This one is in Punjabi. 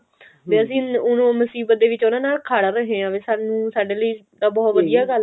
ਵੀ ਅਸੀਂ ਮੁਸੀਬਤ ਦੇ ਵਿੱਚ ਉਹਨਾ ਨਾਲ ਖੜ ਰਹੇ ਹਾਂ ਵੀ ਸਾਡੇ ਲਈ ਤਾਂ ਬਹੁਤ ਵਧੀਆ ਗੱਲ ਆ